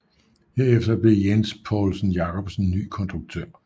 Herefter blev Jens Poulsen Jacobsen ny konduktør